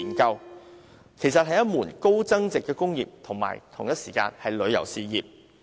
這其實是一門高增值的工業及旅遊事業。